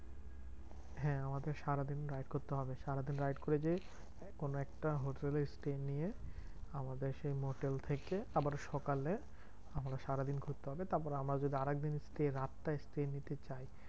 হ্যাঁ আমাদের সারাদিন ride করতে হবে। সারাদিন ride করে যেয়ে কোনো একটা হোটেলে stay নিয়ে, আমাদের সেই মোটেল থেকে আবার সকালে আমরা সারাদিন ঘুরতে হবে। তারপরে আমরা যদি আরেকদিন stay রাতটা stay নিতে চাই